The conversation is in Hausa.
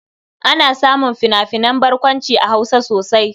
Ana samun fina-finan barkwanci a Hausa sosai.